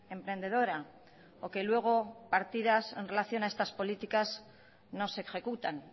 emprendedora o que luego partidas en relación a estas políticas no se ejecutan